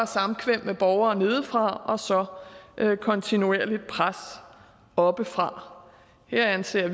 samkvem med borgere nedefra og så kontinuerligt pres oppefra vi anser